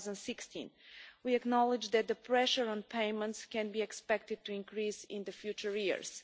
in 2016. We acknowledge that the pressure on payments can be expected to increase in the coming years.